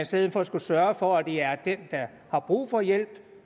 stedet for skulle sørges for at det er den der har brug for hjælp